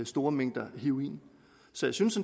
store mængder heroin så jeg synes